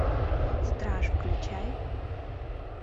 страж включай